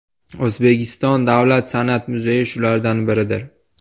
O‘zbekiston davlat san’at muzeyi shulardan biridir.